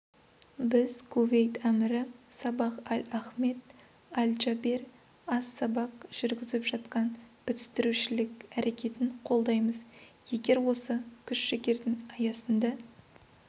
біз кувейт әмірі сабах аль-ахмед аль-джабер ас-сабах жүргізіп жатқан бітістірушілік әрекетін қолдаймыз егер осы күш-жігердің аясында